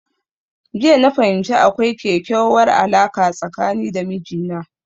Jiya na fahimci akwai kekyauwar alarka tsakani da mijina